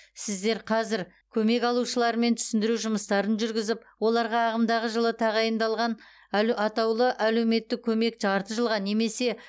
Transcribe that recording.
сіздер қазір көмек алушылармен түсіндіру жұмыстарын жүргізіп оларға ағымдағы жылы тағайындалған әл атаулы әлеуметтік көмек жарты жылға немесе